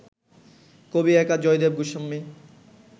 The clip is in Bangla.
কবি একা জয়দেব গোস্বামী